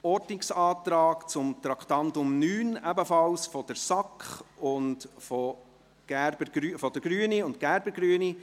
Der Ordnungsantrag zu Traktandum 9 kommt ebenfalls von der SAK sowie von den Grünen und Gerber, Grüne.